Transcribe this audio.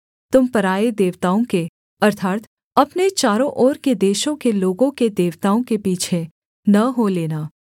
तुम पराए देवताओं के अर्थात् अपने चारों ओर के देशों के लोगों के देवताओं के पीछे न हो लेना